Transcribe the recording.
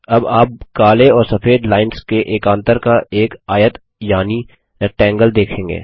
अब आप काले और सफेद लाइन्स के एकान्तर का एक आयत यानि रेक्टैंगगल देखेंगे